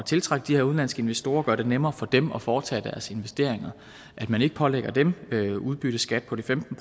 tiltrække de her udenlandske investorer og gøre det nemmere for dem at foretage deres investeringer at man ikke pålægger dem udbytteskat på de femten